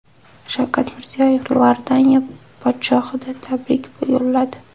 Shavkat Mirziyoyev Iordaniya podshohiga tabrik yo‘lladi.